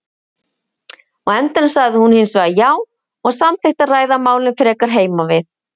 Á endanum sagði hún hinsvegar já og samþykkti að ræða málin frekar heima við.